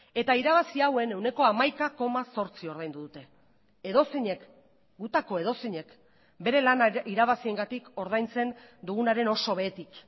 eta irabazi hauen ehuneko hamaika koma zortzi ordaindu dute edozeinek gutako edozeinek bere lana irabaziengatik ordaintzen dugunaren oso behetik